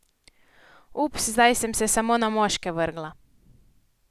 Ups, zdaj sem se samo na moške vrgla ...